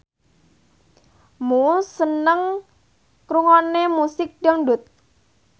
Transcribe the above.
Muse seneng ngrungokne musik dangdut